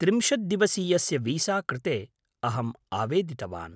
त्रिंशद्दिवसीयस्य visa कृते अहम् आवेदितवान्।